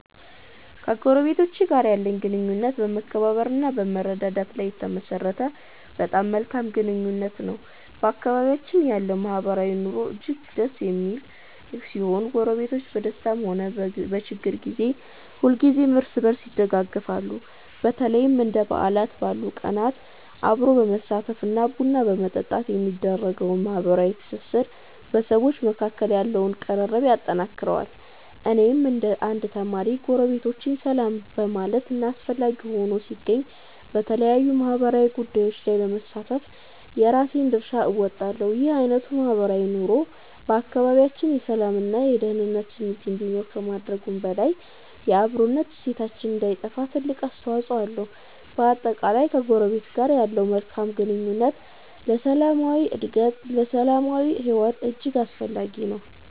ከጎረቤቶቼ ጋር ያለኝ ግንኙነት በመከባበር እና በመረዳዳት ላይ የተመሠረተ በጣም መልካም ግንኙነት ነው። በአካባቢያችን ያለው ማህበራዊ ኑሮ እጅግ ደስ የሚል ሲሆን፣ ጎረቤቶች በደስታም ሆነ በችግር ጊዜ ሁልጊዜም እርስ በርስ ይደጋገፋሉ። በተለይም እንደ በዓላት ባሉ ቀናት አብሮ በማሳለፍ እና ቡና በመጠጣት የሚደረገው ማህበራዊ ትስስር በሰዎች መካከል ያለውን ቅርርብ ያጠነክረዋል። እኔም እንደ አንድ ተማሪ፣ ጎረቤቶቼን ሰላም በማለት እና አስፈላጊ ሆኖ ሲገኝ በተለያዩ ማህበራዊ ጉዳዮች ላይ በመሳተፍ የራሴን ድርሻ እወጣለሁ። ይህ አይነቱ ማህበራዊ ኑሮ በአካባቢያችን የሰላም እና የደኅንነት ስሜት እንዲኖር ከማድረጉም በላይ፣ የአብሮነት እሴታችን እንዳይጠፋ ትልቅ አስተዋፅኦ አለው። በአጠቃላይ፣ ከጎረቤት ጋር ያለው መልካም ግንኙነት ለሰላማዊ ሕይወት እጅግ አስፈላጊ ነው።